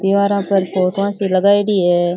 दिवारा पर फोटोवा सी लगायेडी है।